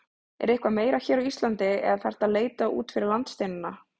Er eitthvað meira hér á Íslandi eða þarftu að leita út fyrir landsteinana?